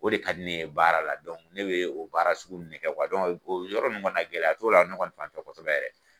O de ka di ne ye baara la ne bɛ o baara sugu nun ne kɛ o yɔrɔ nun kɔni na gɛlɛya t'o la ne kɔni fanfɛ kosɛbɛ yɛrɛ.